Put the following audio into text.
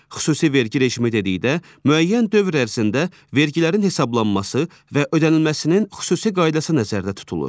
Xüsusi vergi rejimi dedikdə müəyyən dövr ərzində vergilərin hesablanması və ödənilməsinin xüsusi qaydası nəzərdə tutulur.